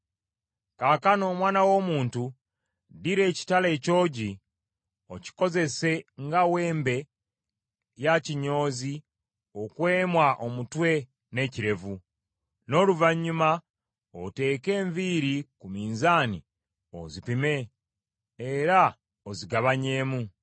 “Kaakano, omwana w’omuntu, ddira ekitala ekyogi, okikozese nga weembe ya kinyoozi okwemwa omutwe n’ekirevu. N’oluvannyuma oteeke enviiri ku minzaani ozipime era ozigabanyeemu.